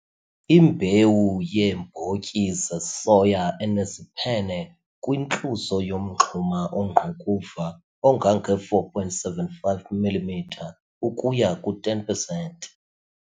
Imbewu yeembotyi zesoya eneziphene kwintluzo yomngxuma ongqukuva ongange 4,75 mm ukuya ku-10 pesenti.